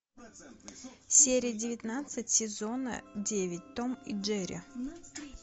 серия девятнадцать сезона девять том и джерри